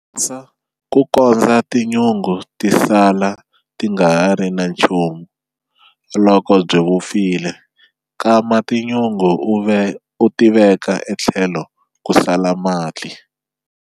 Phosa ku kondza tinyungu ti sala ti nga ha ri na nchumu. Loko byi vupfile, kama tinyungu u ti veka etlhelo ku sala mati.